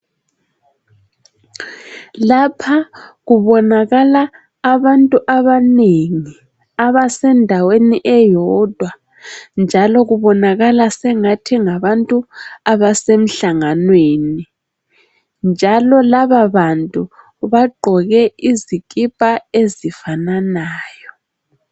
Lapha kubonakala abantu abanengi abasendaweni eyodwa njalo kubonakala sengathi ngabantu abasemhlanganweni njalo lababantu bagqoke izikipa ezifananayo.